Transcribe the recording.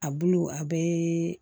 A bulu a bɛɛ